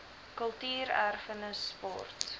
kultuur erfenis sport